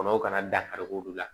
Kɔnɔw kana dakari olu la